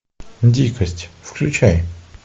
дикость включай